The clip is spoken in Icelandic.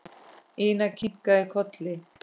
Ína kinkaði kolli.